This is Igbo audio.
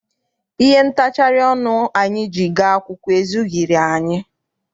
Ihe ntachari ọnụ anyị ji gaa akwụkwọ ezughịri anyị.